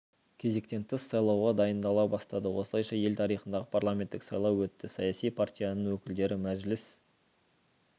кезектен тыс сайлауға дайындала бастады осылайша ел тарихындағы парламенттік сайлау өтті саяси партияның өкілдері мәжіліс